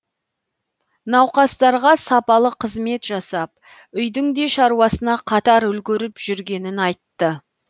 науқастарға сапалы қызмет жасап үйдің де шаруасына қатар үлгеріп жүргенін айтты